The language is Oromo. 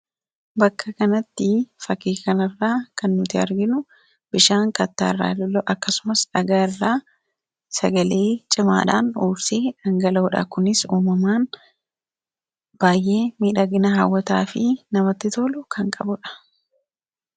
bakka kanatti fakii kana irraa kan nuti arginu bishaan kattaa irraa lola'u akkasumas dhagaa irraa sagalee cimaadhaan uursee dhangaloodha kunis uumamaan baay'ee miidhagina haawwataa fi namatti toolu kan qabudha